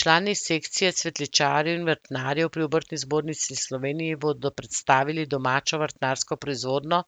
Člani Sekcije cvetličarjev in vrtnarjev pri Obrtni zbornici Slovenije bodo predstavili domačo vrtnarsko proizvodnjo,